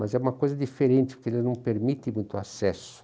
Mas é uma coisa diferente, porque ele não permite muito acesso.